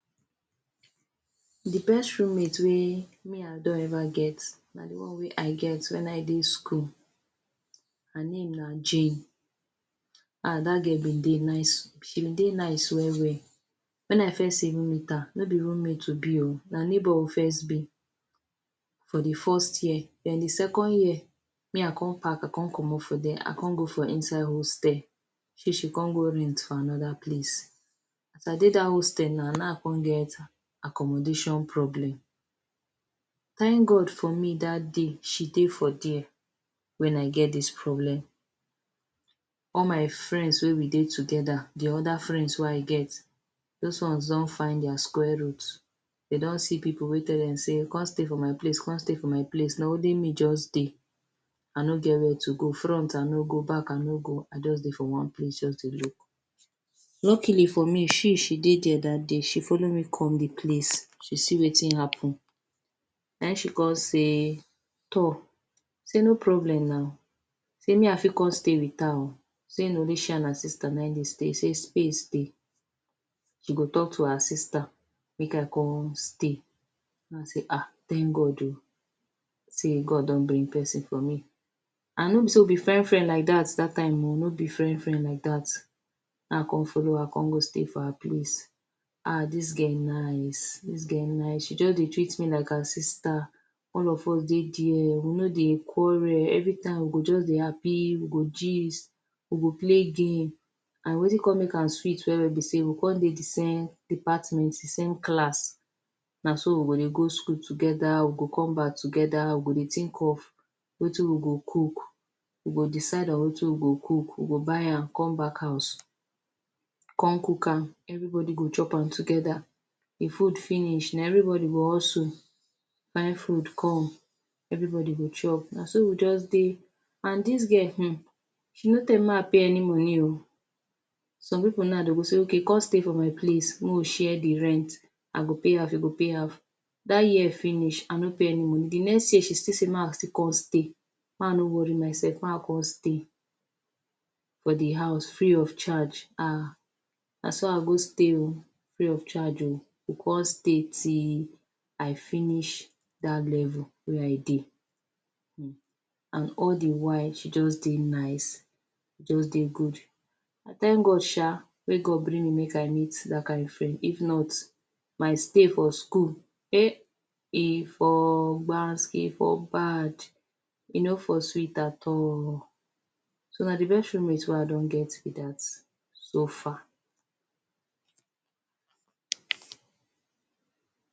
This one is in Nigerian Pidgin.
The best roommate wey me I don ever get na the one wey I get wen I dey school. Her name na Jane. Ah dat girl been dey nice. She been dey nice well-well. Wen I first even meet her, no be roommate we be oh, na neighbour we first be for the first year. Then the second year, me I con park, I con comot for there I con go for hostel. She, she con go rent for another place. As I dey dat hostel na nau I con get accommodation problem. Thank God for me dat day she dey for there wen I get dis problem. All my friends wey we dey together – the other friends wey I get – dos ones don find dia square root. De don see pipu wey tell dem sey come stay for my place come stay for my place, na only me juz dey. I no get where to go. Front I no go, back I no go. I juz dey for one place juz dey look. Luckily for me, she she dey there dat day, she follow me come the place. She see wetin happen. Na ein she con say toor say no problem now, sey me I fit con stay with her oh, sey na only she an her sister na ein de stay sey space dey. She go talk to her sister make I con stay. Na hin I say ah thank God oh sey God don bring peson for me. An no be sey we be friend-friend like dat dat time oh, no be friend-friend like dat. Na hin I con follow her con go stay for her place. Ah dis girl nice, dis girl nice. She juz dey treat me like her sister. All of us dey there, we no dey quarrel. Every time we go juz dey happy, we go gist, we go play game. An wetin con make am sweet well-well be sey we con dey the same department, the same class. Na so we go dey go school together, we go come back together, we go dey think of wetin we go cook. We go decide on wetin we go cook, we go buy am come back house, con cook am. Everybody go chop am together. If food finish, na everybody go hussle find food come. Everybody go chop. Na so we juz dey. An dis girl, hmm, she no tell me make I pay any money oh. Some pipu nau, dey go say okay come stay for my place make we share the rent – I go pay half, you go pay half. Dat year finish I no pay any money. The next year, she still say make I still con stay, make I no worry mysef, make I con stay for the house free of charge. Ah Na so I go stay oh free of charge oh. Go con stay till I finish dat level wey I dey. Hmm… an all the while she juz dey nice, juz dey good. I thank God sha wey God bring me make I meet dat kain friend. If not, my stay for school, eh! e for gbas, e for bad. E no for sweet at all. So, na the best roommate wey I don get be da so far.